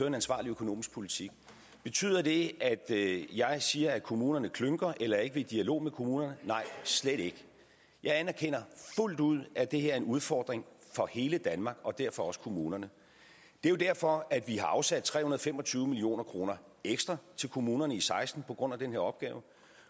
en ansvarlig økonomisk politik betyder det at jeg siger at kommunerne klynker eller ikke vil i dialog med kommunerne nej slet ikke jeg anerkender fuldt ud at det her er en udfordring for hele danmark og derfor også kommunerne det er jo derfor at vi har afsat tre hundrede og fem og tyve million kroner ekstra til kommunerne i seksten på grund af den her opgave